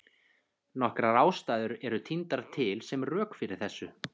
Nokkrar ástæður eru tíndar til sem rök fyrir þessu.